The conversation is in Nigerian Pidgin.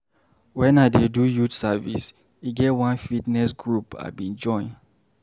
Wen I dey do youth service, e get one fitness group I bin join.